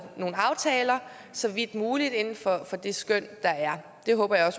nogle aftaler så vidt muligt inden for det skøn der er det håber jeg